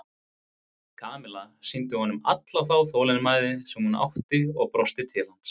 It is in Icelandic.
Kamilla sýndi honum alla þá þolinmæði sem hún átti og brosti til hans.